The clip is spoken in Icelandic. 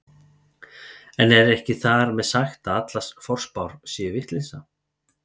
En ekki er þar með sagt að allar forspár séu vitleysa.